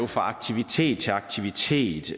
fra aktivitet til aktivitet